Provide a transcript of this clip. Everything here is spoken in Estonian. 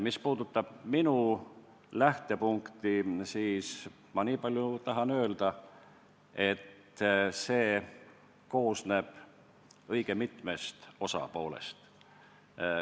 Mis puudutab minu lähtepunkti, siis ma tahan öelda niipalju, et see koosneb õige mitmest osast.